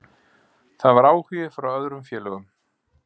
Það var áhugi frá öðrum félögum.